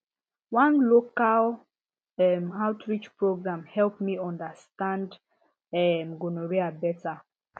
one local um outreach program help me understand um gonorrhea better